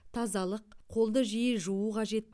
тазалық қолды жиі жуу қажет